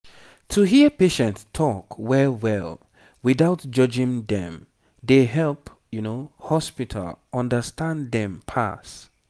to hear patient talk well well without judging dem dey help hospital understand dem pass